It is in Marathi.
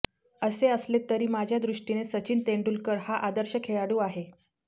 असे असले तरी माझ्या दृष्टीने सचिन तेंडुलकर हा आदर्श खेळाडू आहे